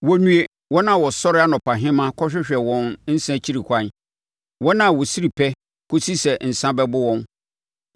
Wɔnnue, wɔn a wɔsɔre anɔpahema kɔhwehwɛ wɔn nsã akyiri kwan, wɔn a wɔsiri pɛ kɔsi sɛ nsã bɛbo wɔn.